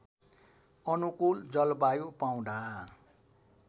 अनुकूल जलवायु पाउँदा